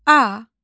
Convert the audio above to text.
A.